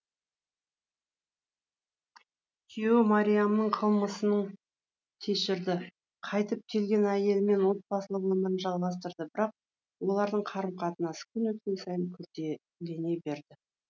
күйеуі марияның қылмысын кешірді қайтып келген әйелімен отбасылық өмірін жалғастырды бірақ олардың қарым қатынасы күн өткен сайын күрделене берді